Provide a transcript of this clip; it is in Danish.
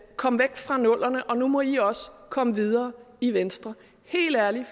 kom væk fra nullerne og nu må i også komme videre i venstre helt ærligt